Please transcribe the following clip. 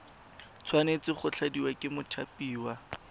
tshwanetse go tladiwa ke mothapiwa